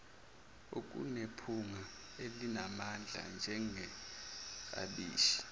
okunephunga elinamandla njengeklabishi